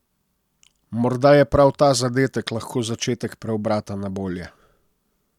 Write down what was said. Morda je prav ta zadetek lahko začetek preobrata na bolje.